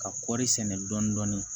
Ka kɔri sɛnɛ dɔɔnin